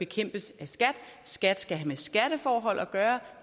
kæmpes af skat skat skal have med skatteforhold at gøre